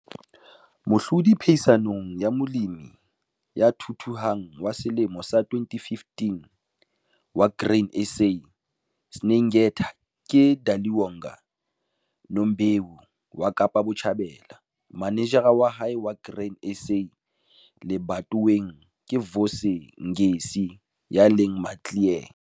Mohlodi phehisanong ya Molemi ya Thuthuhang wa Selemo sa 2015 wa Grain SA, Syngenta ke Daliwonga Nombewu wa Kaapa Botjhabela. Manejara wa hae wa Grain SA lebatoweng ke Vusi Ngesi ya leng Maclear.